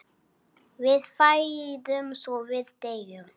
Við fæðumst og við deyjum.